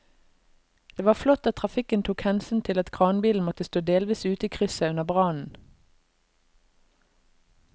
Det var flott at trafikken tok hensyn til at kranbilen måtte stå delvis ute i krysset under brannen.